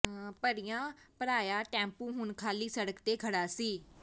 ਭਰਿਆਂ ਭਰਾਇਆ ਟੈਂਪੂ ਹੁਣ ਖਾਲੀ ਸੜਕ ਤੇ ਖੜਾ ਸੀ